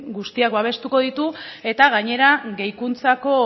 guztiak abestuko ditu eta gainera gehikuntzako